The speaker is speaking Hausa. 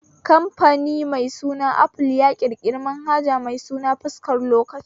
Kamfani mai suna aful ya ƙirƙiri manhaja mai suna fuskar lokaci